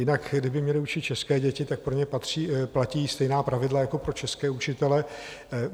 Jinak kdyby měli učit české děti, tak pro ně platí stejná pravidla jako pro české učitele.